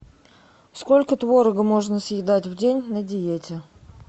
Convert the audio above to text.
сколько творога можно съедать в день на диете